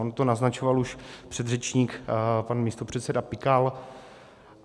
On to naznačoval už předřečník pan místopředseda Pikal.